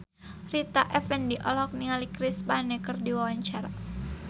Rita Effendy olohok ningali Chris Pane keur diwawancara